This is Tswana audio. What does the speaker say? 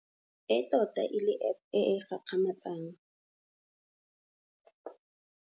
E tota e le App e e gakgamatsang.